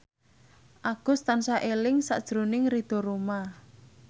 Agus tansah eling sakjroning Ridho Roma